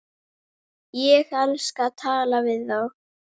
Ég skal tala við þá.